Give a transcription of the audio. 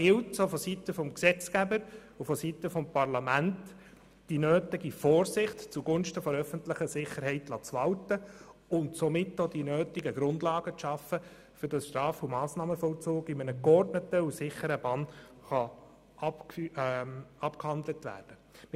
Da gilt es, auch von Seiten des Gesetzgebers und des Parlaments, die nötige Vorsicht zugunsten der öffentlichen Sicherheit walten zu lassen und somit auch die nötigen Grundlagen zu schaffen, damit der Straf- und Massnahmenvollzug in einer geordneten und sicheren Bahn abgehandelt werden kann.